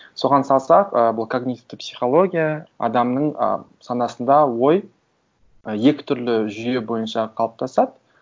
соған салсақ ы бұл когнитивті психология адамның ы санасында ой ы екі түрлі жүйе бойынша қалыптасады